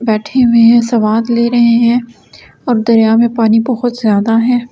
बैठे हुए है सवाद ले रहे है और दरिया मे पानी बहुत जादा है ।